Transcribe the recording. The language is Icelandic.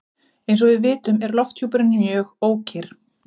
Eins og við vitum er lofthjúpurinn mjög ókyrr.